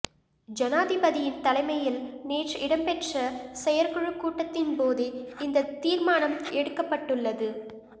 ஜனாதிபதியின் தலைமையில் நேற்று இடம்பெற்ற செயற்குழு கூட்டத்தின்போதே இந்த தீர்மானம் எடுக்கப்பட்டுள்ளது